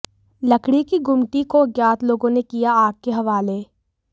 लकड़ी की गुमटी को अज्ञात लोगों ने किया आग के हवाले